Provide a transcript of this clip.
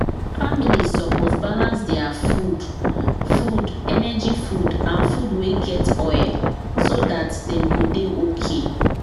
families suppose balance their food food energy food and food wey get oil so dat dem go dey okay